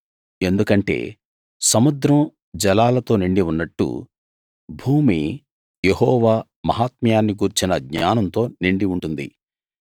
ఎందుకంటే సముద్రం జలాలతో నిండి ఉన్నట్టు భూమి యెహోవా మహాత్మ్యాన్ని గూర్చిన జ్ఞానంతో నిండి ఉంటుంది